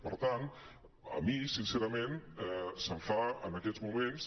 per tant a mi sincerament se’m fa en aquests moments